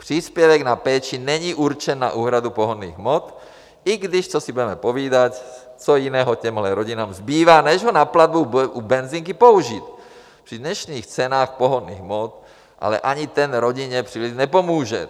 Příspěvek na péči není určen na úhradu pohonných hmot, i když, co si budeme povídat, co jiného těmhle rodinám zbývá, než ho na platbu u benzinky použít při dnešních cenách pohonných hmot, ale ani ten rodině příliš nepomůže.